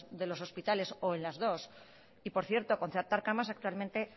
de los hospitales o en las dos y por cierto concertar camas actualmente